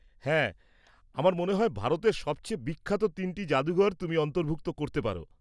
হ্যাঁ! আমার মনে হয় ভারতের সবচেয়ে বিখ্যাত তিনটি জাদুঘর তুমি অন্তর্ভুক্ত করতে পার।